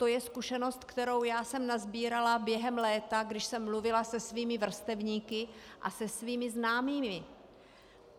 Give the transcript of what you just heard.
To je zkušenost, kterou já jsme nasbírala během léta, když jsem mluvila se svými vrstevníky a se svými známými.